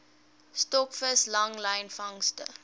stokvis langlyn vangste